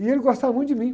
E ele gostava muito de mim.